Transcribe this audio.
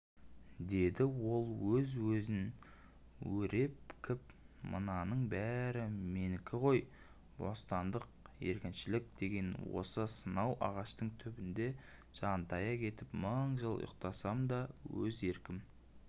деді ол өз-өзінен өрепкіпмынаның бәрі менікі ғой бостандық еркіншілік деген осы сонау ағаштың түбіне жантая кетіп мың жыл ұйықтасам да өз еркім